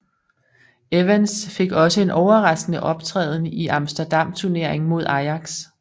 Evans fik også en overraskende optræden i Amsterdam Turneringen mod Ajax